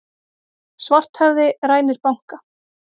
Svarthöfði rænir banka